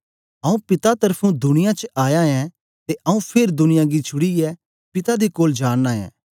आऊँ पिता त्र्फुं दुनिया च आया ऐं ते आऊँ फेर दुनिया गी छुड़ीयै पिता दे कोल जा नां ऐं